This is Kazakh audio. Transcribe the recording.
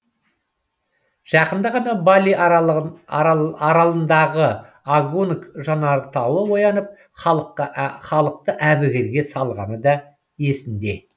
жақында ғана бали аралындағы агунг жанартауы оянып халықты әбігерге салғаны да ел есінде